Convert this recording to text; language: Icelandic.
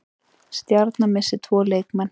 Stjarnan missir tvo leikmenn